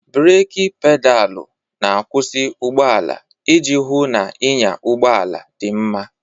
Breeki Pedaalụ na-akwụsị ụgbọ ala iji hụ na ịnya ụgbọ ala dị mma.